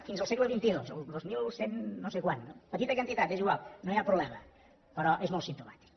fins al segle xxii el dos mil cent no sé quants no petita quantitat és igual no hi ha problema però és molt simptomàtic